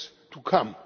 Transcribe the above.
to come.